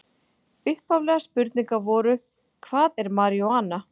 Upphaflegar spurningar voru: Hvað er marijúana?